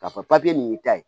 K'a fɔ papiye nin y'i ta ye